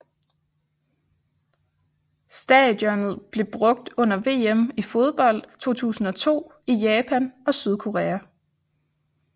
Stadionet blev brugt under VM i fodbold 2002 i Japan og Sydkorea